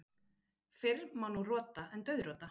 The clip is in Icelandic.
Fyrr má nú rota en dauðrota.